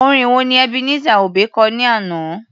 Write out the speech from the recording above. Orin wo ni Ebenezer Obey kọ ní àná?